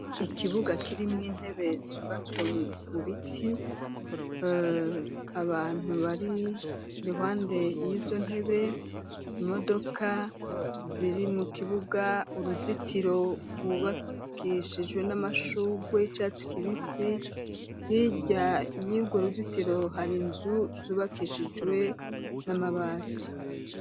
ikibuga kirimwo intebe zubatswe mu biti abantu bari ruhande y'izo ntebe imodoka ziri mu kibuga uruzitiro rwubakishijwe n'amashugwe y'icatsi kibisi bijya yibwo ruzitiro hari nzu zubakishijwe n'amabati.